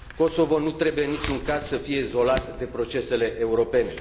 Kosovo nu trebuie, în niciun caz, să fie izolat de procesele europene.